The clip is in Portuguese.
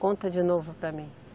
Conta de novo para mim.